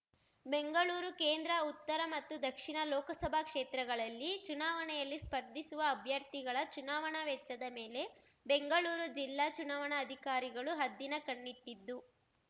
ಬೆಂಗಳೂರು ಕೇಂದ್ರ ಉತ್ತರ ಮತ್ತು ದಕ್ಷಿಣ ಲೋಕಸಭಾ ಕ್ಷೇತ್ರಗಳಲ್ಲಿ ಚುನಾವಣೆಯಲ್ಲಿ ಸ್ಪರ್ಧಿಸುವ ಅಭ್ಯರ್ಥಿಗಳ ಚುನಾವಣಾ ವೆಚ್ಚದ ಮೇಲೆ ಬೆಂಗಳೂರು ಜಿಲ್ಲಾ ಚುನಾವಣಾ ಅಧಿಕಾರಿಗಳು ಹದ್ದಿನ ಕಣ್ಣಿಟ್ಟಿದ್ದು